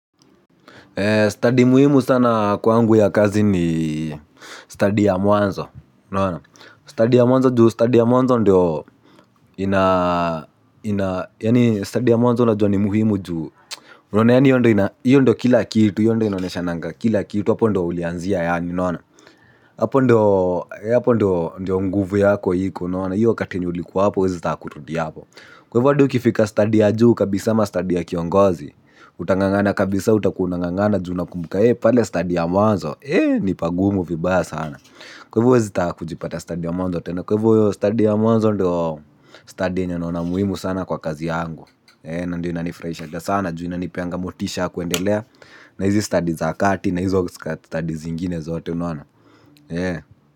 "Study" muhimu sana kwangu ya kazi ni "study" ya mwanzo. "Study" ya mwanzo juu "study" ya mwanzo ndio inaa yani "study" ya mwanzo ndio ina muhimu juu. Unaona yani hio ndo kila kitu hio ndo inaoneshanga kila kitu hapo ndo ulianzia yaani unaona. Hapo ndo ndo nguvu yako iko unaona. Hiyo wakati yenye ulikuwa hapo huwezi taka kurudi hapo. Kwa hivo hata ukifika stadi ya juu kabisa ama stadi ya kiongozi. Utangangana kabisa utakuwa unangangana ju unakumbuka ee pale stadi ya mwanzo ee ni pagumu vibaya sana. Kwa hivo huwezi taka kujipata stadi ya mwanzo tena. Kwa hivo hiyo stadi ya mwanzo ndo stadi yenye naona muhimu sana kwa kazi yangu ee na ndo inanifurahishanga sana ju inanipeanga motisha ya kuendelea na hizi stadi za kati na hizo stadi zingine zote unaona ee.